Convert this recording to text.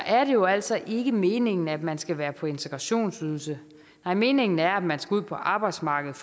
er det jo altså ikke meningen at man skal være på integrationsydelse nej meningen er at man skal ud på arbejdsmarkedet